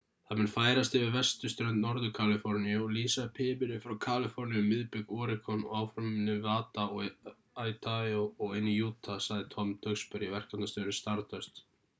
það mun færast yfir vesturströnd norður-kaliforníu og lýsa upp himininn frá kaliforníu um miðbik oregon og áfram um nevada og idaho og inn í utah sagði tom duxbury verkefnastjóri stardust